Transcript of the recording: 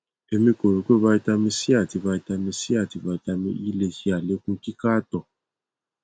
emi ko ro pe vitamin c ati vitamin c ati vitamin e le ṣe alekun kika ato